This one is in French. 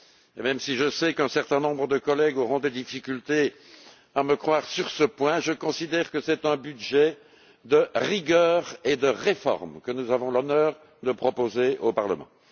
Et même si je sais qu'un certain nombre de collègues auront des difficultés à me croire sur ce point, je considère que c'est un budget de rigueur et de réforme que nous avons l'honneur de proposer au Parlement.